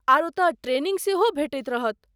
आर ओतय ट्रेनिंग सेहो भेटैत रहत।